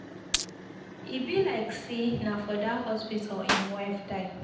E be like say na for dat hospital im wife die.